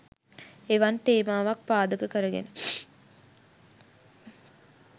එවන් තේමාවක් පාදක කරගෙන